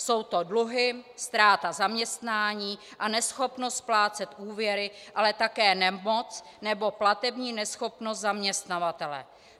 Jsou to dluhy, ztráta zaměstnání a neschopnost splácet úvěry, ale také nemoc nebo platební neschopnost zaměstnavatele.